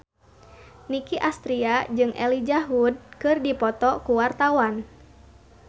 Nicky Astria jeung Elijah Wood keur dipoto ku wartawan